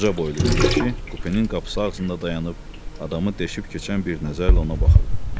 Uca boylu bir kişi kupenin qapısı ağzında dayanıb adamı deşib keçən bir nəzərlə ona baxırdı.